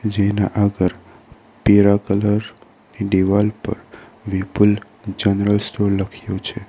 જેના આગર પીરા કલર ની દિવાલ પર વિપુલ જનરલ સ્ટોર લખ્યું છે.